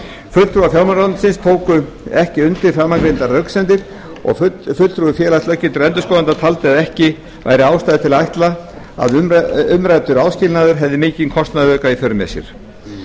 fulltrúar fjármálaráðuneytisins tóku ekki undir framangreindar röksemdir og fulltrúi félags löggiltra endurskoðenda taldi að ekki væri ástæða til að ætla að umræddur áskilnaður hefði mikinn kostnaðarauka í för með sér